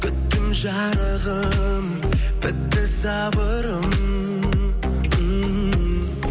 күттім жарығым бітті сабырым